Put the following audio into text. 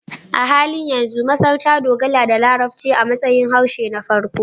A halin yanzu, Masar ta dogara da Larabci a matsayin harshe na farko